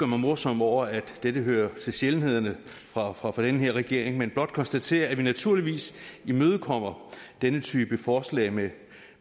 mig morsom over at dette hører til sjældenhederne fra fra den her regering men blot konstatere at vi naturligvis imødekommer denne type forslag med